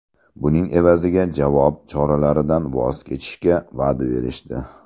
Buning evaziga javob choralaridan voz kechishga va’da berishdi.